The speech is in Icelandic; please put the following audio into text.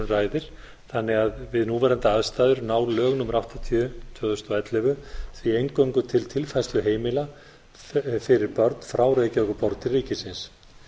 ræðir þannig að við núverandi aðstæður ná lög númer áttatíu tvö þúsund og ellefu því eingöngu til tilfærsluheimila fyrir börn frá reykjavíkurborg til ríkisins